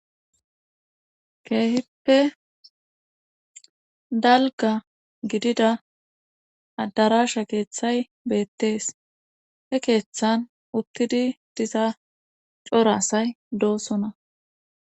Keehippe dalgga gidida addaraasha keethay beettees he keethan uttidi diza cora asay doosona